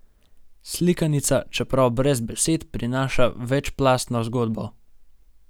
Slikanica, čeprav brez besed, prinaša večplastno zgodbo.